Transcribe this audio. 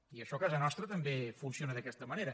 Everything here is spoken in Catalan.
i això a casa nostra també funciona d’aquesta manera